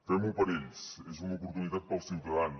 fem ho per ells és una oportunitat per als ciutadans